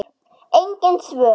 Engin svör.